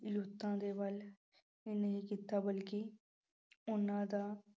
ਦੇ ਵੱਲ ਹੀ ਨਹੀਂ ਕੀਤਾ ਬਲਕਿ ਉਹਨਾਂ ਦਾ